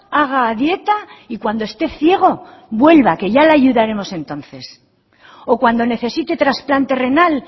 haga dieta y cuando esté ciego vuelva que ya le ayudaremos entonces o cuando necesite trasplante renal